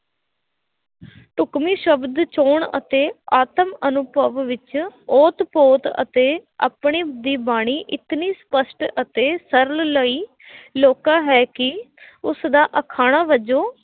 ਢੁਕਵੇਂ ਸ਼ਬਦ ਚੋਣ ਅਤੇ ਆਤਮ ਅਨੁਭਵ ਵਿੱਚ ਓਤ ਪੋਤ ਅਤੇ ਆਪਣੇ ਦੀ ਬਾਣੀ ਇਤਨੀ ਸਪੱਸ਼ਟ ਅਤੇ ਸਰਲ ਲਈ, ਲੋਕਾਂ ਹੈ ਕਿ ਉਸਦਾ ਅਖਾਣਾਂ ਵਜੋਂ